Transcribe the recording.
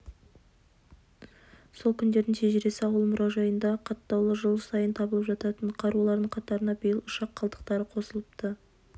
сол күндердің шежіресі ауыл мұражайында қаттаулы жыл сайын табылып жататын қарулардың қатарына биыл ұшақ қалдықтары қосылыпты